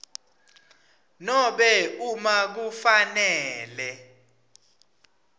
nobe uma kufanele